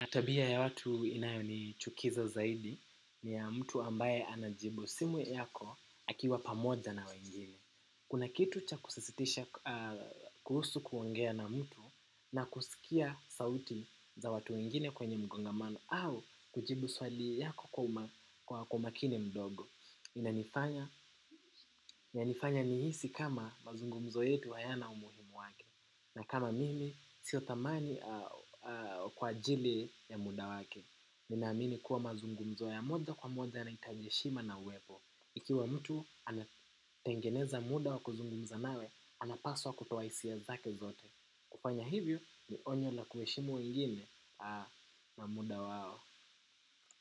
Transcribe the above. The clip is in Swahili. Na tabia ya watu inayonichukiza zaidi, ni ya mtu ambaye anajibu simu yako akiwa pamoja na wengine. Kuna kitu cha kusisitisha kuhusu kuongea na mtu na kusikia sauti za watu wengine kwenye mkongamano au kujibu swali yako kwa umakini mdogo. Inanifanya nihisi kama mazungumzo yetu hayana umuhimu wake. Na kama mimi sio dhamani kwa ajili ya muda wake. Ninamini kuwa mazungumzo ya moja kwa moja yanahitaji heshima na uwepo. Ikiwa mtu anatengeneza muda wa kuzungumza nawe anapaswa kutoa hisia zake zote. Kufanya hivyo ni onyo na kuheshimu wengine na muda wao.